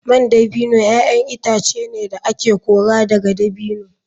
Man dabino ‘ya’yan itace ne da ake kora daga dabino.